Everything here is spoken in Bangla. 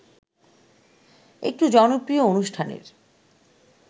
একটু জনপ্রিয় অনুষ্ঠানের